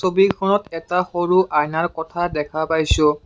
ছবিখনত এটা সৰু আইনৰ কঠা দেখা পাইছোঁ।